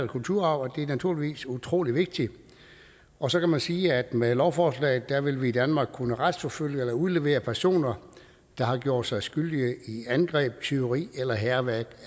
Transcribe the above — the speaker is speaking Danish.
kulturarv og det er naturligvis utrolig vigtigt og så kan man sige at med lovforslaget vil vi i danmark kunne retsforfølge eller udlevere personer der har gjort sig skyldige i angreb tyveri af eller hærværk